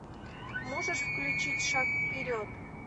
можешь включить шаг вперед